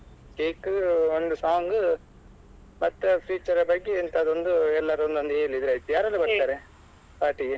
Cake ಒಂದು song ಮತ್ತೆ future ನ ಬಗ್ಗೆ ಎಂತಾದ್ರೂ ಒಂದು ಎಲ್ಲಾರು ಒಂದೊಂದು ಎಂತಾದ್ರೂ ಹೇಳಿದ್ರೆ ಆಯ್ತು ಯಾರೆಲ್ಲ ಬರ್ತಾರೆ party ಗೆ?